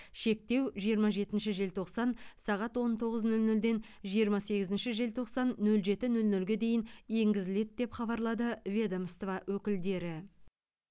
шектеу жиырма жетінші желтоқсан сағат он тоғыз нөл нөлден жиырма сегізінші желтоқсан нөл жеті нөл нөлге дейін енгізіледі деп хабарлады ведомство өкілдері